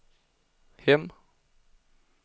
hem